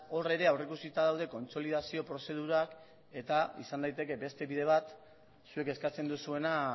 hor ere aurreikusita daude kontsolidazio prozedurak eta izan daiteke beste bide bat zuek eskatzen duzuena